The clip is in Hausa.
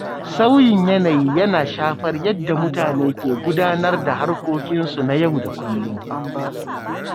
Sauyin yanayi yana shafar yadda mutane ke gudanar da harkokinsu na yau da kullum.